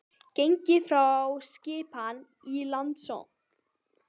Gengið frá skipan í Landsdóm